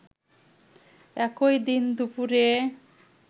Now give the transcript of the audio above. একই দিন দুপুরে